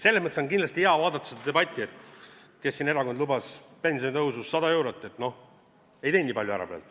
Selles mõttes on kindlasti hea seda debatti vaadata, et kes lubas pensionitõusu 100 eurot ja noh, ei teinud praegu nii palju ära.